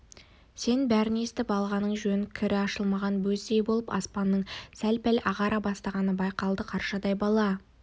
сен бәрін естіп алғаның жөн кірі ашылмаған бөздей болып аспанның сәл-пәл ағара бастағаны байқалды қаршадай бала